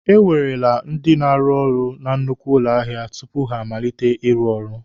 E werele ndị na-arụ na nnukwu ụlọ ahịa tupu ha amalite ịrụ ọrụ.